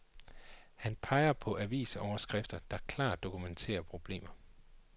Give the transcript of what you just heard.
Han peger på avisoverskrifter, der klart dokumenterer problemer.